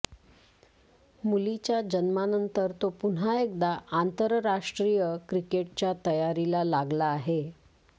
मुलीच्या जन्मानंतर तो पुन्हा एकदा आंतरराष्ट्रीय क्रिकेटच्या तयारीला लागला आहे